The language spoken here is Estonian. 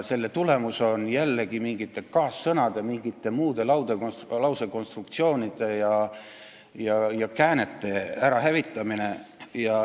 Selle tagajärg on mingite kaassõnade, mingite muude lausekonstruktsioonide ja käänete ärahävitamine.